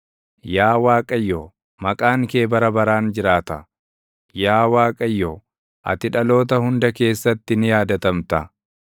Yaa Waaqayyo, maqaan kee bara baraan jiraata; yaa Waaqayyo, ati dhaloota hunda keessatti ni yaadatamta.